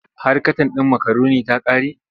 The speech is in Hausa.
Har katan ɗin makaroni ta ƙare?